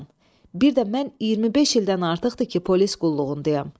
Bir də mən 25 ildən artıqdır ki, polis qulluğundayam.